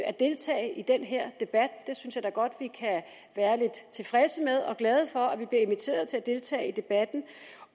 at deltage i den her debat det synes jeg da godt vi kan være tilfredse med og glade for at vi bliver inviteret til at deltage i debatten